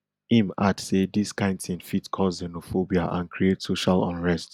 im add say dis kain tin fit cause xenophobia and create social unrest